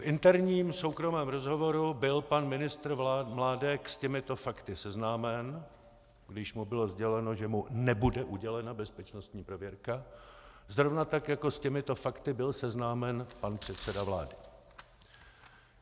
V interním soukromém rozhovoru byl pan ministr Mládek s těmito fakty seznámen, když mu bylo sděleno, že mu nebude udělena bezpečnostní prověrka, zrovna tak jako s těmito fakty byl seznámen pan předseda vlády.